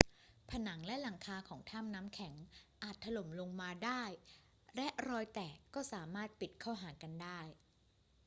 ผนังและหลังคาของถ้ำน้ำแข็งอาจถล่มลงมาได้และรอยแตกสามารถปิดเข้าหากันได้